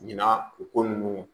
Ɲina u ko ninnu